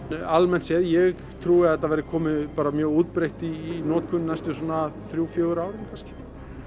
almennt séð ég trúi að þetta verði komið bara mjög útbreitt í notkun næstu svona þrjú fjögur árin kannski